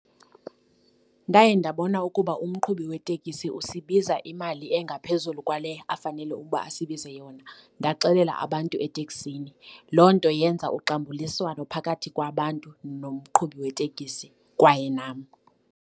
Ndaye ndabona ukuba umqhubi wetekisi usibiza imali engaphezulu kwale afanele ukuba asibize yona, ndaxelela abantu eteksini. Loo nto yenza uxambuliswano phakathi kwabantu nomqhubi weetekisi kwaye nam.